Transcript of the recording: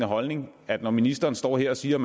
holdning at når ministeren står her og siger